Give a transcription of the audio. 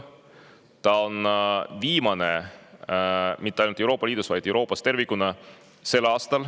Ja tänavu on ta viimane mitte ainult Euroopa Liidus, vaid Euroopas tervikuna.